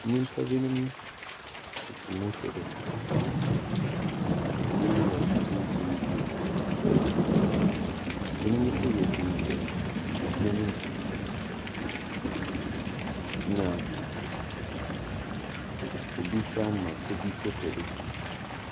Nyimpa binom tsetse do, binom wɔtsena do ebien ebien, binom so wɔgyinagyina hɛn mu, na obi so ama obi photo do.